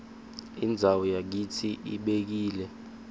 indzawo yakitsi ibekile